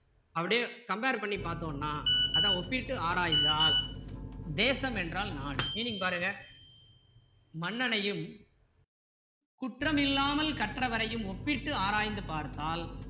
அப்படியே compare பண்ணி பார்த்தோம்னா அதான் ஒப்பிட்டு ஆராய்ந்தால் தேசம் என்றால் நாடு meaning பாருங்க மன்னனையும் குற்றமில்லாமல் கற்றவரையும் ஒப்பிட்டு ஆராய்ந்து பார்த்தால்